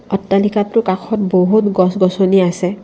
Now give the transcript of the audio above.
অট্টালিকাটোৰ কাষত বহুত গছগছনি আছে।